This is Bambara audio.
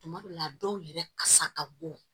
Tuma dɔw la dɔw yɛrɛ kasa ka bon